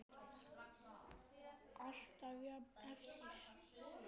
Alltaf jafn erfitt?